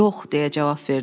Yox, deyə cavab verdim.